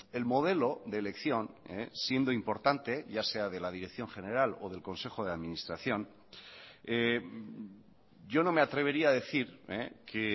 el modelo de elección siendo importante ya sea de la dirección general o del consejo de administración yo no me atrevería a decir que